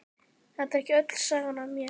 Þetta er ekki öll sagan af mér.